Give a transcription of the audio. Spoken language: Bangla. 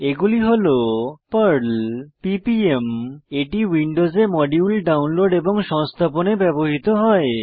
এগুলি হল পার্ল পিপিএম এটি উইন্ডোজে মডিউল ডাউনলোড এবং সংস্থাপনে ব্যবহৃত হয়